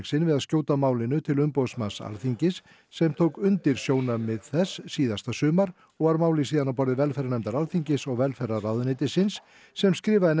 sinn við að skjóta málinu til umboðsmanns Alþingis sem tók undir sjónarmið þess síðasta sumar og var málið síðan á borði velferðarnefndar Alþingis og velferðarráðuneytisins sem skrifaði